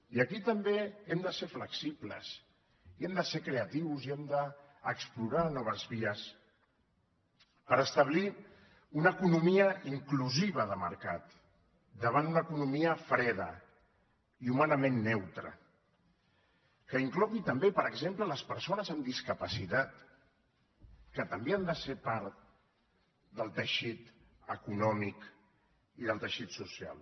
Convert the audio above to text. i aquí també hem de ser flexibles i hem de ser creatius i hem d’explorar noves vies per establir una economia inclusiva de mercat davant una economia freda i humanament neutra que inclogui també per exemple les persones amb discapacitat que també han de ser part del teixit econòmic i del teixit social